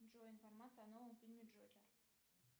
джой информация о новом фильме джокер